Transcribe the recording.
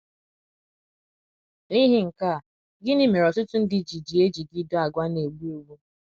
N’ihi nka a,gini mere ọtụtụ ndị ji ji ejigide àgwà na - egbu egbu?